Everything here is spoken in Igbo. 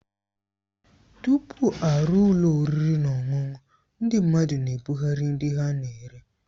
Tupu a rụọ ụlọ oriri na ọṅụṅụ, ndị mmadụ na-ebugharị nri ha na-ere.